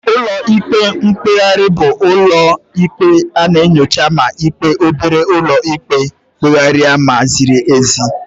Ụlọ ikpe mkpegharị bụ ụlọ ikpe na-enyocha ma ikpe obere ụlọ ikpe kpere ma o ziri ezi.